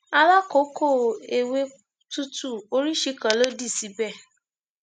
alákòókò ewé tútù oríṣìí kan ló dì síbẹ